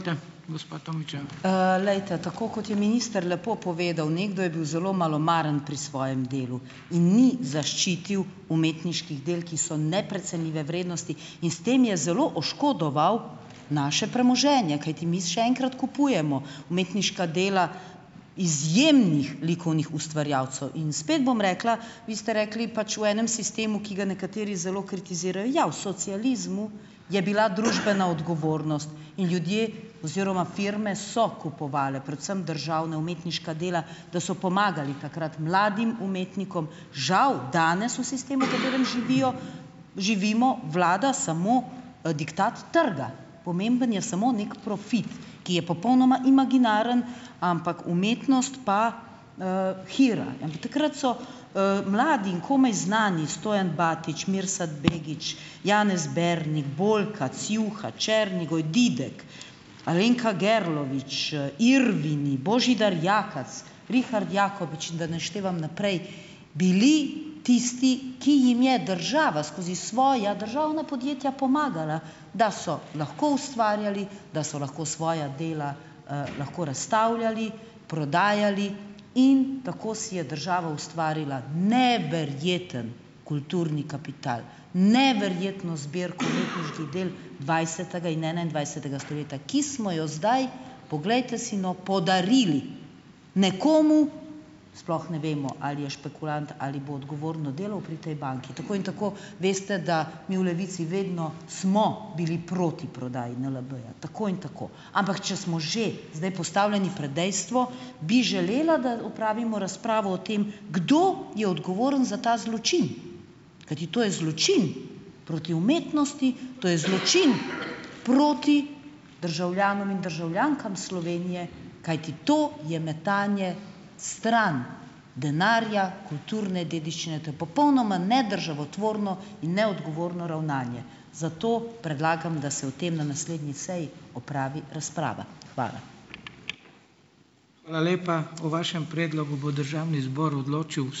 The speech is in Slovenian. glejte, tako kot je minister lepo povedal, nekdo je bil zelo malomaren pri svojem delu in ni zaščitil umetniških del, ki so neprecenljive vrednosti, in s tem je zelo oškodoval naše premoženje, kajti mi še enkrat kupujemo umetniška dela izjemnih likovnih ustvarjalcev, in spet bom rekla, vi ste rekli, pač, v enem sistemu, ki ga nekateri zelo kritizirajo, ja, v socializmu je bila družbena odgovornost in ljudje oziroma firme so kupovale, predvsem državne, umetniška dela, da so pomagali takrat mladim umetnikom. Žal danes, v sistemu, v katerem živijo, živimo, vlada samo, diktat trga. Pomemben je samo neki profit, ki je popolnoma imaginaren, ampak umetnost pa, hira. takrat so, mladi in komaj znani, Stojan Batič, Mirsad Begić, Janez Bernik, Boljka, Ciuha, Černigoj, Didek, Alenka Gerlovič, Irvini, Božidar Jakac, Rihard Jakopič in da ne naštevam naprej, bili tisti, ki jim je država skozi svoja državna podjetja pomagala, da so lahko ustvarjali, da so lahko svoja dela, lahko razstavljali, prodajali in tako si je država ustvarila neverjeten kulturni kapital, neverjetno zbirko umetniških del dvajsetega in enaindvajsetega stoletja, ki smo jo zdaj, poglejte si no, podarili nekomu, sploh ne vemo, ali je špekulant ali bo odgovorno delal pri tej banki, tako in tako veste, da mi v Levici vedno smo bili proti prodaji NLB-ja, tako in tako, ampak če smo že zdaj postavljeni pred dejstvo, bi želela, da opravimo razpravo o tem, kdo je odgovoren za ta zločin? Kajti to je zločin proti umetnosti, to je zločin proti državljanom in državljankam Slovenije, kajti to je metanje stran - denarja, kulturne dediščine. To je popolnoma nedržavotvorno in neodgovorno ravnanje. Zato predlagam, da se o tem na naslednji seji opravi razprava. Hvala.